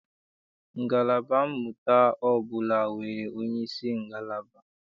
Ngalaba mmụta ọbụla nwere onyeisi ngalaba.